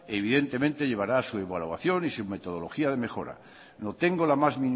evidentemente llevará su evaluación y su metodología de mejora no tengo la más